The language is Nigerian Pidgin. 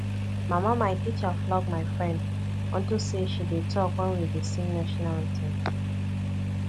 mama my teacher flog my friend unto say she dey talk wen we dey sing national anthem